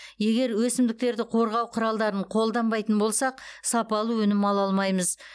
егер өсімдіктерді қорғау құралдарын қолданбайтын болсақ сапалы өнім ала алмаймыз